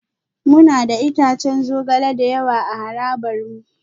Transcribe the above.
Muna da itatuwan zogale da yawa a harabar mu